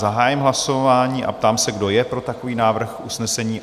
Zahájím hlasování a ptám se, kdo je pro takový návrh usnesení?